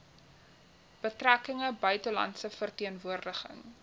betrekkinge buitelandse verteenwoordiging